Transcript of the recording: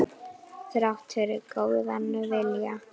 Þrátt fyrir góðan vilja.